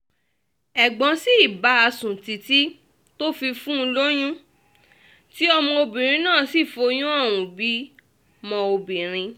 ẹ̀gbọ́n sì bá a sùn títí tó fi fún un lóyún tí ọmọbìnrin náà sì foyún ohùn bímọ obìnrin